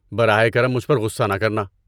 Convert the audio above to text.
براہ کرم مجھ پر غصہ نہ کرنا۔